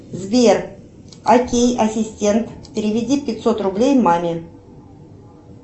сбер окей ассистент переведи пятьсот рублей маме